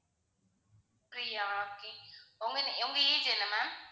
Priya okay உங்க உங்க age என்ன ma'am